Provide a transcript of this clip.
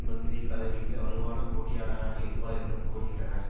மந்திரி பதவிக்கு வலுவான போட்டியாளராக இருப்பார் என்றும் கூறுகின்றனர்